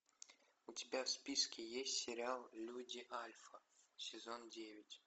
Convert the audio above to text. у тебя в списке есть сериал люди альфа сезон девять